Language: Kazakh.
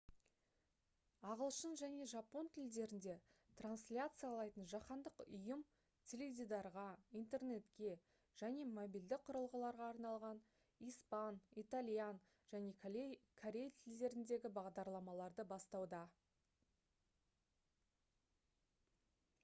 ағылшын және жапон тілдерінде трансляциялайтын жаһандық ұйым теледидарға интернетке және мобильді құрылғыларға арналған испан итальян және корей тілдеріндегі бағдарламаларды бастауда